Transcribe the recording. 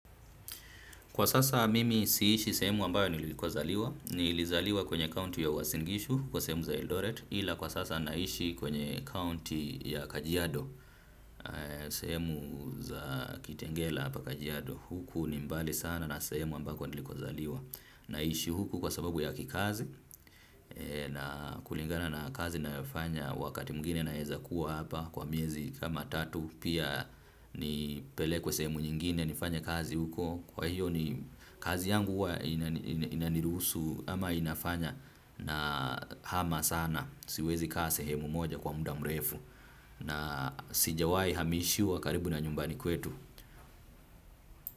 Kwa sasa mimi si ishi sehemu ambayo niliko zaliwa, nilizaliwa kwenye county ya Uasin Gishu, kwa semu za Eldoret, ila kwa sasa naishi kwenye county ya kajiado, sehemu za kitengela hapa kajiado huku ni mbali sana na sehemu ambako niliko zaliwa. Na ishi huku kwa sababu ya kikazi na kulingana na kazi ninayofanya wakati mwingine naeza kuwa hapa kwa miezi kama tatu pia nipelekwe sehemu nyingine nifanye kazi huko kwa hiyo ni kazi yangu inaniruhusu ama inafanya na hama sana siwezi kaa sehemu moja kwa muda mrefu na sijawai hamishwa karibu na nyumbani kwetu.